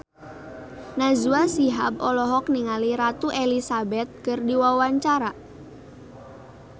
Najwa Shihab olohok ningali Ratu Elizabeth keur diwawancara